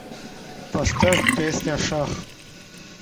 поставь песня шах